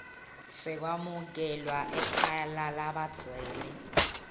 sekwamukelwa ekhaya lalabadzela